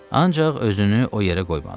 Ancaq özünü o yerə qoymadı.